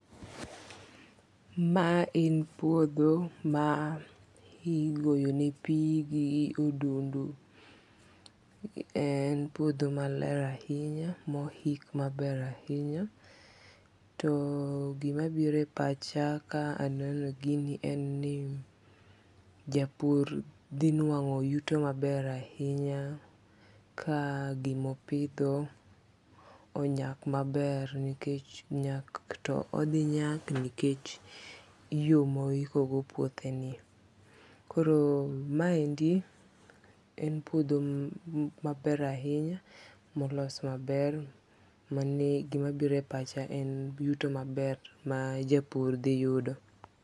Ma en puodho ma igoyo ne pi gi odindu. En puodho maler ahinya mohik maber ahinya. To gima biro e pacha ka aneno gini en ni japur dhi nuang'o yuto maber ahinya ka gimopidho onyak maber nikech nyak to odhi nyak nikech yo mohiko go puothe ni. Koro ma endi en puodho maber ahinya molos maber mani gimabiro e pacha en yuto maber ma japur dhi yudo.